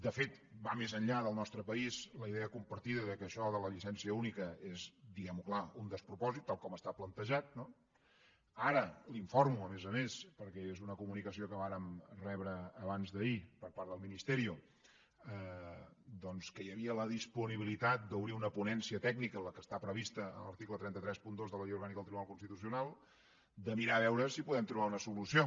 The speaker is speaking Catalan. de fet va més enllà del nostre país la idea compartida que això de la llicència única és diguem ho clar un despropòsit tal com està plantejat no ara l’informo a més a més perquè és una comunicació que vàrem rebre abans d’ahir per part del ministerio doncs que hi havia la disponibilitat d’obrir una ponència tècnica la que està prevista a l’article tres cents i trenta dos de la llei orgànica del tribunal constitucional de mirar a veure si hi podem trobar una solució